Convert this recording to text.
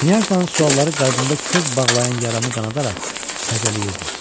Knyajnan sualları qəlbində köz bağlayan yaramı qanadaraq təzələyirdi.